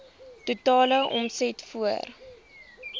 totale omset voor